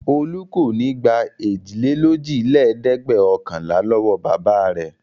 Olú kò ní gbà èjìlélójìlẹ́ẹ̀dẹ́gbẹ̀ọ̀kànlá lọ́wọ́ bàbá rẹ̀.